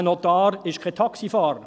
Ein Notar ist kein Taxifahrer.